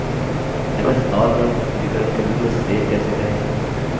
ms powerpoint प्रस्तुतिकरण के रूप में सेव कैसे करें